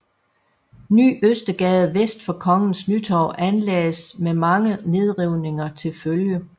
Ny Østergade vest for Kongens Nytorv anlagdes med mange nedrivninger til følge